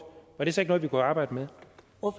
var det så ikke noget vi kunne arbejde med